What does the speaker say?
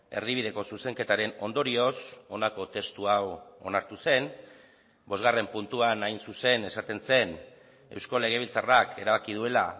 erdibideko zuzenketaren ondorioz honako testu hau onartu zen bosgarren puntuan hain zuzen esaten zen eusko legebiltzarrak erabaki duela